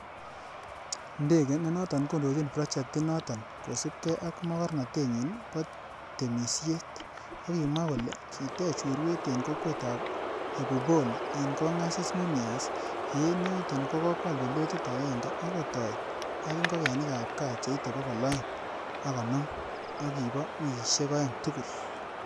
Ndege, nenoton kondochin projectinoton, kosiibge ak magornotenyin bo temisiet, kokimwa kole kitech urwet en kokwetab Ebubole en Kongasis Mumias, ye en yoton ko kwal pilotit agenge ak kotoi ak ingogenik ab gaa cheite bogol oeng ak konoom, ak kibo wikisiek oeng tugul.